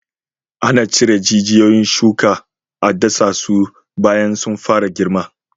Ana cire jijiyon shuka a dasasu bayan sun fara girma.